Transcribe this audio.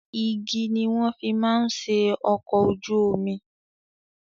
Igi ni wọ́n fi máa ń ṣe ọkọ̀ ojú omi.